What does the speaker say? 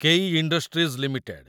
କେଇ Industries limited